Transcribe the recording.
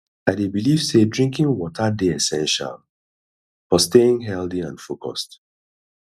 i dey believe say drinking water dey essential for staying healthy and focused